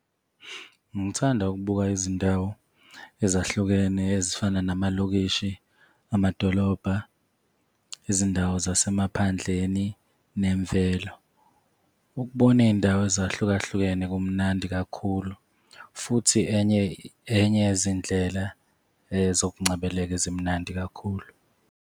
Ngithanda ukubuka izindawo ezahlukene ezifana namalokishi, amadolobha, izindawo zasemaphandleni nemvelo. Ukubona iy'ndawo ezahlukahlukene kumnandi kakhulu, futhi enye enye yezindlela zokungcebeleka ezimnandi kakhulu,